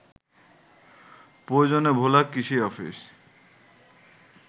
প্রয়োজনে ভোলা কৃষি অফিস